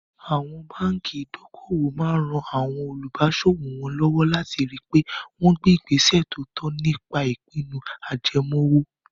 Àwọn báńkì ìdókòwò máa ran àwọn olùbáṣòwò wọn lọ́wọ́ láti ri pé wọ́n gbé ìgbésẹ̀ tó tọ́ nípa ìpinnu ajẹmoówó.